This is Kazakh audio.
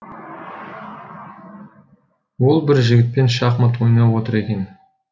ол бір жігітпен шахмат ойнап отыр екен